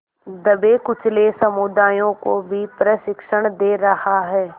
दबेकुचले समुदायों को भी प्रशिक्षण दे रहा है